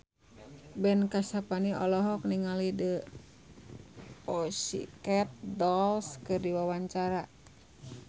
Ben Kasyafani olohok ningali The Pussycat Dolls keur diwawancara